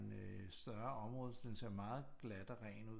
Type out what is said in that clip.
En øh større område den ser meget glat og ret ud